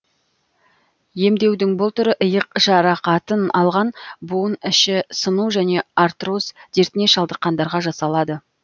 емдеудің бұл түрі иық жарақатын алған буын іші сыну және артроз дертіне шалдыққандарға жасалады